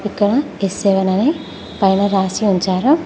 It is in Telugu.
ఇక్కడ ఎస్ సెవెన్ అని పైన రాసి ఉంచారు.